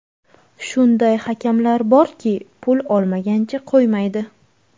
Shunday hakamlar borki, pul olmagancha qo‘ymaydi.